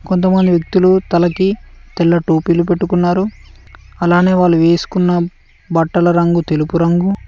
కొంతమంది వ్యక్తులు తలకి తెల్ల టోపీలు పెట్టుకున్నారు అలానే వాళ్ళు వేసుకున్న బట్టల రంగు తెలుపు రంగు.